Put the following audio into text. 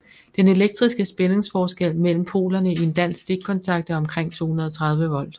Den elektriske spændingsforskel mellem polerne i en dansk stikkontakt er omkring 230 volt